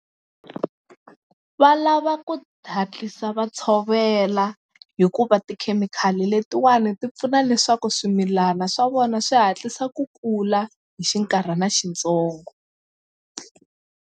Va lava ku ta hatlisa va tshovela hikuva tikhemikhali letiwani ti pfuna leswaku swimilana swa vona swi hatlisa ku kula hi xinkarhana xintsongo.